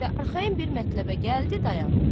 Və arxayın bir mətləbə gəldi, dayandı.